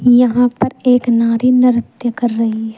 यहां पर एक नारी नृत्य कर रही है।